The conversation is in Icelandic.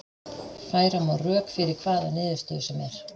Færa má rök fyrir hvaða niðurstöðu sem er.